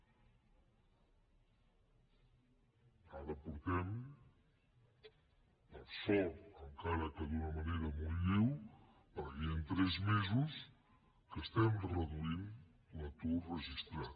ara fa per sort encara que d’una manera molt lleu fa tres mesos que estem reduint l’atur registrat